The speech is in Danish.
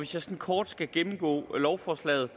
sådan kort skal gennemgå lovforslaget